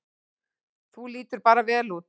Þú lítur bara vel út!